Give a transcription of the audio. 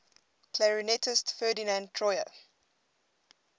clarinetist ferdinand troyer